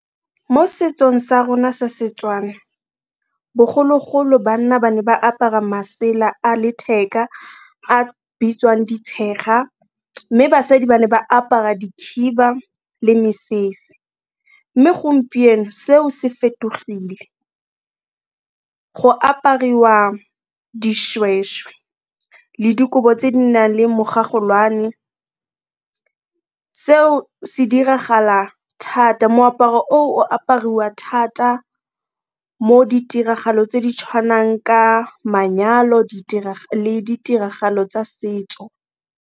Mo setsong sa rona sa Setswana bogologolo banna ba ne ba apara masela a letheka a bitswang ditshega, mme basadi ba ne ba apara dikhiba le mesese, mme gompieno seo se fetogile, go apariwa dishweshwe le dikobo tse di nang le mogagolwane. Seo se diragala thata, moaparo oo o apariwa thata mo ditiragalong tse di tshwanang ka manyalo, le ditiragalo tsa setso.